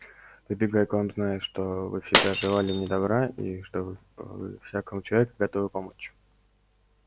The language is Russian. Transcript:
прибегаю к вам зная что вы всегда желали мне добра и что вы всякому человеку готовы помочь